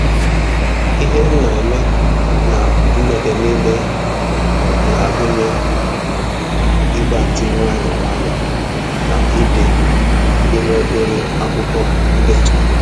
Ihe m na eme na mgbede niile na-agụnye ịgbatị nwayọ nwayọ na ide n'ime obere akwụkwọ ndetu